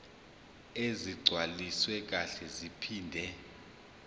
ezigcwaliswe kahle zaphinde